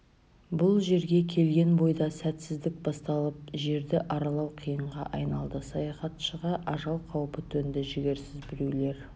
бұл жерге келген бойда сәтсіздік басталып жерді аралау қиынға айналды саяхатшыға ажал қаупі төнді жігерсіз біреулер